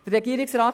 Regierungsrat